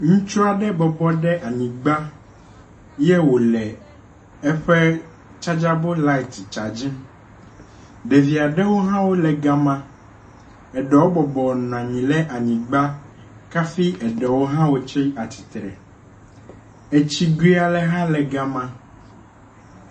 Ŋutsu aɖe bɔbɔ ɖe anyigba ye wo le eƒe tsadzabel lati tsadzim. Ɖevi aɖewo hã le ga me eɖewo bɔbɔnɔ anyi ɖe anyigba hafi eɖewo hã wotsi atsitre. Etsigue aɖe hã e ga ma.